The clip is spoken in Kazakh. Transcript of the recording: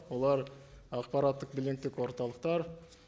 олар ақпараттық биллингтік орталықтар